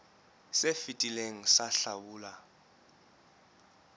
se fetileng sa hlabula e